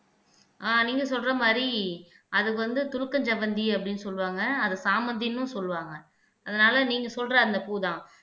ஆஹ் நீங்க சொல்ற மாதிரி அது வந்து துலுக்கன்செவ்வந்தி அப்படின்னு சொல்லுவாங்க அது சாமந்தின்னும் சொல்லுவாங்க அதனால நீங்க சொல்ற அந்த பூ தான்